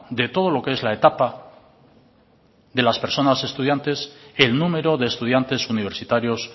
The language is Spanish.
de todo lo que es la etapa de las personas estudiantes el número de estudiantes universitarios